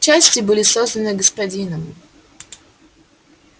части были созданы господином